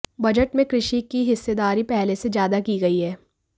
budget में कृषि की हिस्सेदारी पहले से ज्यादा की गई है